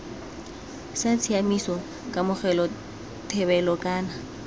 sa tshiaimiso kamogelo thebolo kana